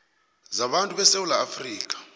zabantu besewula afrika